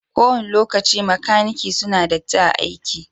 Ko wani lokaci makanaki suna datti a'aiki.